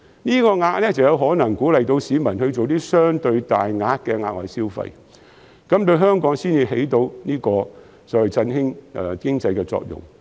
這數額才有可能鼓勵市民作出相對大額的額外消費，從而產生振興香港經濟的作用。